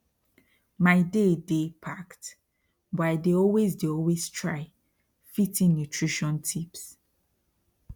my day dey packed but i dey always dey always try fit in nutrition tips